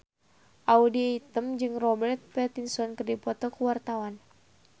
Audy Item jeung Robert Pattinson keur dipoto ku wartawan